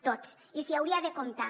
tots i s’hi hauria de comptar